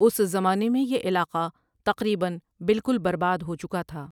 اس زمانے میں یہ علاقہ تقریباً بالکل برباد ہوچکا تھا ۔